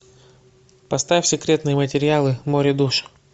поставь секретные материалы море душ